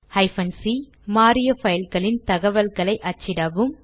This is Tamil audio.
c160 மாறிய பைல்களின் தகவல்களை அச்சிடவும்